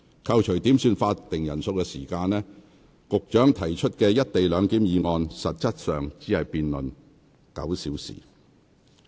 扣除點算法定人數的時間，局長提出的"一地兩檢"議案實質只辯論了不足9小時。